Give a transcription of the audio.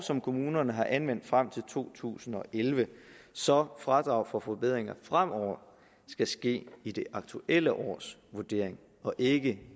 som kommunerne har anvendt frem til to tusind og elleve så fradrag for forbedringer fremover skal ske i det aktuelle års vurdering og ikke